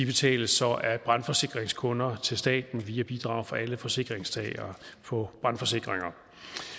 betales så af brandforsikringskunder til staten via bidrag fra alle forsikringstagere på brandforsikringer